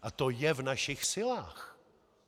A to je v našich silách.